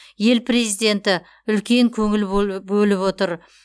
ел президенті үлкен көңіл бөліп отыр